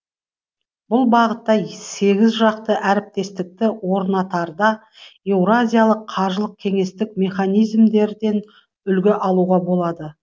бұл бағыттағы сегізжақты әріптестікті орнатарда еуразиялық қаржылық кеңестік механизмдерден үлгі алуға болады